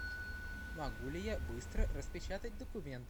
могу ли я быстро распечатать документ